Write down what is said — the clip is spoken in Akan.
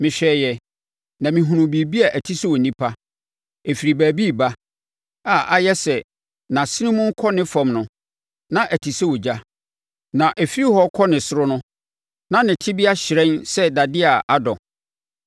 Mehwɛeɛ na mehunuu biribi a ɛte sɛ onipa. Ɛfiri baabi reba, a ayɛ sɛ nʼasene mu rekɔ ne fam no, na ɔte sɛ ogya, na ɛfiri hɔ rekɔ ne soro no, na ne tebea hyerɛn sɛ dadeɛ a adɔ.